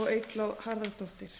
og eygló harðardóttir